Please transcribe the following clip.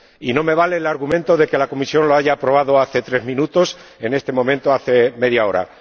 Y no me vale el argumento de que la Comisión lo haya aprobado hace tres minutos, en este momento, hace media hora.